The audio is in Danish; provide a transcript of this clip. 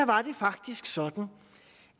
var det faktisk sådan